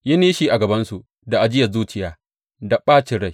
Yi nishi a gabansu da ajiyar zuciya da ɓacin rai.